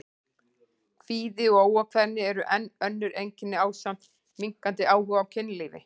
Kvíði og óákveðni eru enn önnur einkenni ásamt minnkandi áhuga á kynlífi.